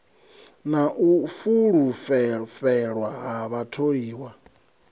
na u fulufhelwa ha vhatholiwa